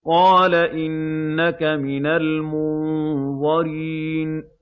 قَالَ إِنَّكَ مِنَ الْمُنظَرِينَ